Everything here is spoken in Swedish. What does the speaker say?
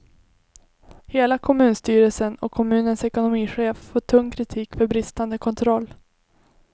Hela kommunstyrelsen och kommunens ekonomichef får tung kritik för bristande kontroll.